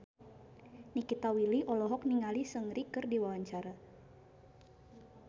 Nikita Willy olohok ningali Seungri keur diwawancara